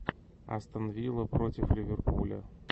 астон вилла против ливерпуля